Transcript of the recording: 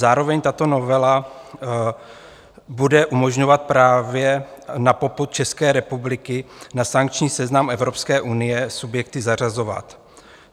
Zároveň tato novela bude umožňovat právě na popud České republiky na sankční seznam Evropské unie subjekty zařazovat.